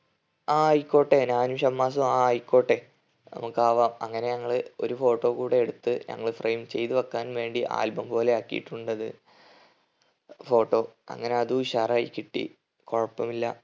ആ ആയിക്കോട്ടെ ഞാനും ഷമ്മാസും ആ ആയിക്കോട്ടെ നമ്മക്ക് ആവാം അങ്ങനെ ഞങ്ങള് ഒരു photo കൂടെ എടുത്ത് ഞങ്ങൾ frame ചെയ്ത വെക്കാൻ വേണ്ടി album പോലെ ആക്കീട്ടുണ്ടത് photo. അങ്ങനെ അതും ഉഷാറായി കിട്ടി കുഴപ്പമില്ല